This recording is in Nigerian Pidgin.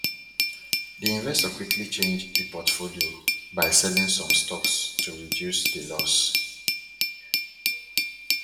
the investor quickly change e portfolio by selling some stocks to reduce the loss